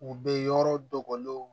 U bɛ yɔrɔ dogolenw